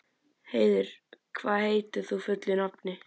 Heiður, hvað heitir þú fullu nafni?